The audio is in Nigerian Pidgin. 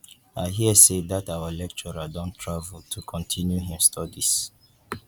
i hear say dat our lecturer don travel to continue im studies